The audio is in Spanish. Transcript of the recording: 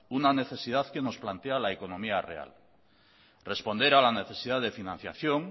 una necesidad que nos plantea la economía real responder a la necesidad de financiación